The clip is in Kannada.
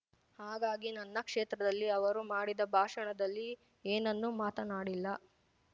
ಹಾಗಾಗಿ ನನ್ನ ಕ್ಷೇತ್ರದಲ್ಲಿ ಅವರು ಮಾಡಿದ ಭಾಷಣದಲ್ಲಿ ಏನ್ನನ್ನು ಮಾತನಾಡಿಲ್ಲ